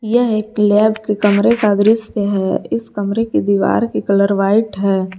यह एक लैब के कमरे का दृश्य है इस कमरे की दीवार की कलर व्हाइट है।